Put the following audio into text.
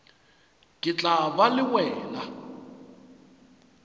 ke tla ba le wena